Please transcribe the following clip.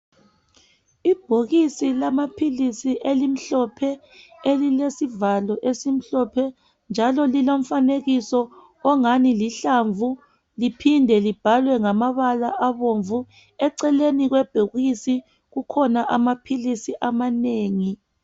Ibhokisi lamaphilisi elimhlophe elilesivalo esimhlophe njalo lilomfanekiso ongani lihlamvu liphinde libhalwe ngamabala abomvu eceleni kwebhokisi kukhona amaphilisi amanengi